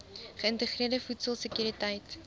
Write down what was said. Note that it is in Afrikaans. geïntegreerde voedsel sekuriteit